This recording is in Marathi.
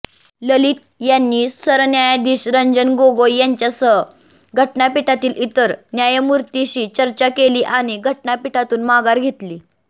ललित यांनी सरन्यायाधीश रंजन गोगोई यांच्यासह घटनापीठातील इतर न्यायमूर्तींशी चर्चा केली आणि घटनापीठातून माघार घेतली